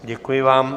Děkuji vám.